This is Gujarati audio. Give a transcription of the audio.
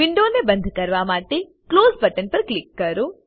વિન્ડોને બંદ કરવા માટે ક્લોઝ બટન પર ક્લિક કરો